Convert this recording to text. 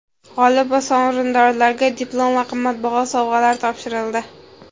G‘olib va sovrindorlarga diplom va qimmatbaho sovg‘alar topshirildi.